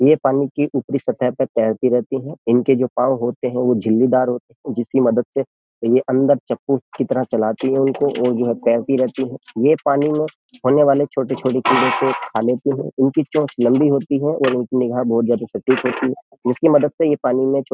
ये पानी की ऊपरी सतह पर तैरती रहती है इनके जो पांव होते हैं वो झिल्लीदार होते हैं जिसकी मदद से ये अंदर चप्पू की तरह चलाती है उनको और जो है पैरती तैरती है ये पानी में होने वाले छोटे-छोटे कीड़ों को खा लेती है इनकी चोंच लंबी होती है और इनकी निगाह बहुत ज्यादा सटीक होती है जिसकी मदद से ये पानी में --